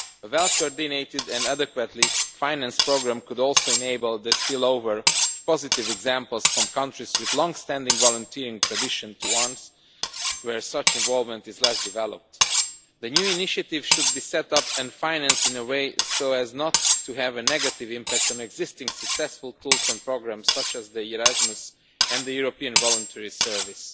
A well coordinated and adequately financed programme could also enable the spillover of positive examples from countries with longstanding volunteering traditions to ones where such involvement is less developed. The new initiative should be set up and financed in a way so as not to have a negative impact on existing successful tools and programmes, such as Erasmus and the European Voluntary Service.